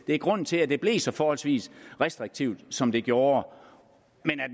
det er grunden til at det blev så forholdsvis restriktivt som det gjorde men